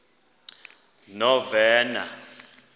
novena